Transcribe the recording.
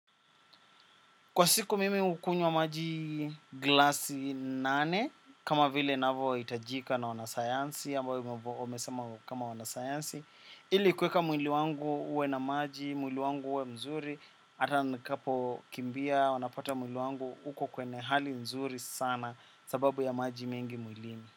Kwa siku mimi hukunywa maji glasi nane, kama vile navyo hitajika na wanasayansi, ambavyo wamesema kama wanasayansi. Ili kueka mwili wangu uwe na maji, mwili wangu uwe mzuri, ata nkapo kimbia, unapata mwili wangu uko kwenye hali nzuri sana sababu ya maji mengi mwili.